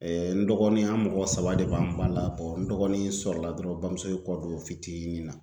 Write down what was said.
n dɔgɔnin an mɔgɔ saba de b'an ba la n dɔgɔnin sɔrɔla dɔrɔn n bamuso kɔ don fitinin na